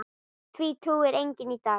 Því trúir enginn í dag.